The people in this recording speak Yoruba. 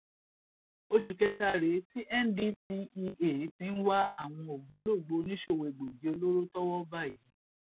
oṣù kẹta rèé tí ndtea ti ń wá àwọn ògbólógbòó oníṣòwò egbòogi olóró tọwọ bá yìí